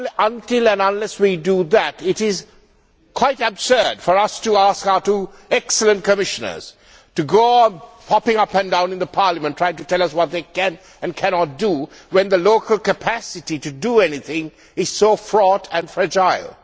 Until and unless we do that, it is quite absurd for us to ask our two excellent Commissioners to go on popping up and down in Parliament trying to tell us what they can and cannot do, when the local capacity to do anything is so fraught and fragile.